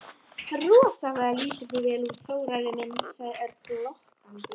Rosalega lítur þú vel út, Þórarinn minn sagði Örn glottandi.